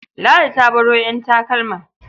Ladi ta baro ƴan takalma.